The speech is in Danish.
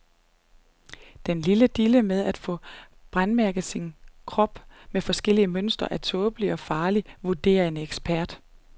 Den nye dille med at få brændemærket sin krop med forskellige mønstre er tåbelig og farlig, vurderer en ekspert.